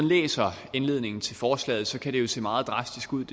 læser indledningen til forslaget kan det jo se meget drastisk ud